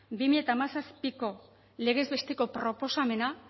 barra bi mila hamazazpiko legez besteko proposamena